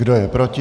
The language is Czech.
Kdo je proti?